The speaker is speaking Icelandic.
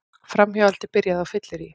Framhjáhaldið byrjaði á fylleríi